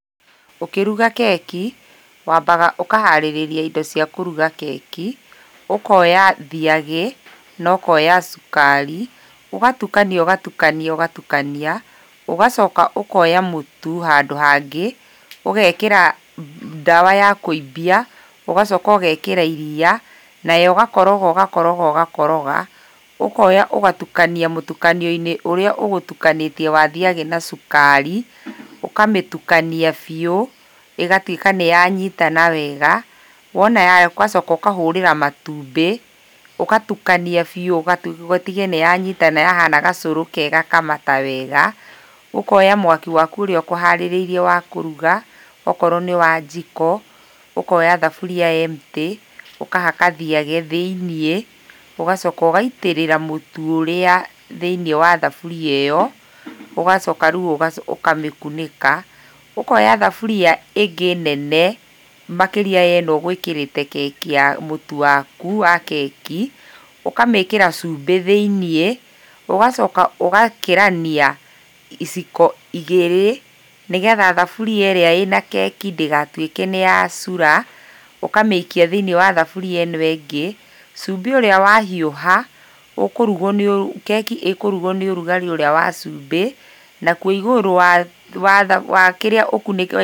Ũkĩruga keki, wambaga ũkaharĩrĩria indo cia kũruga keki ũkoya thiagĩ nokoya sukari ũgatukania ũgatukania ũgatukania ũgacoka ũkoya mũtu handu hangĩ ũgekĩra ndawa ya kũimbia ũgacoka ũgekĩra iria nayo ũgakoroga ũgakoroga ũgakoroga ũkoya ũgatukania mũtukanio-inĩ ũrĩa ũgũtukanĩtie wa thiagĩ na sukari ũkamĩtukania biũ ĩgatuĩka nĩyanyitana wega ũgacoka ũkahũrĩra matumbĩ ũgatukania biũ ũtige nĩyanyitana yahana gacũrũ kega kamata wega, ũkoya mwaki waku ũrĩa ũkũharĩrĩirie wa kũruga okorwo nĩwa njiko, ũkoya thaburia empty ũkahaka thiagĩ thĩiniĩ ũgacoka ũgaitĩrĩra mũtu ũrĩa thĩiniĩ wa thaburia ĩyo ũgacoka rĩu ũkamĩkunĩka ũkoya thaburia ĩngĩ nene makĩria ya ĩno ũgwĩkĩrĩte mũtu waku wa keki ũkamĩĩkĩra cumbĩ thĩiniĩ ũgacoka ũgakĩrania iciko igĩrĩ nĩgetha thaburia ĩrĩa ĩna keki ndĩgatuĩke nĩyacura ũkamĩikia thĩiniĩ wa thaburia ĩno ĩngĩ, cumbĩ ũrĩa wahiũha, keki ĩkũrugwo nĩ ũrugarĩ ũrĩa wa cumbĩ nakwo igũrũ wa kĩrĩa ũkunĩke.